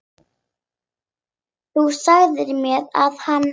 Þú sagðir mér að hann.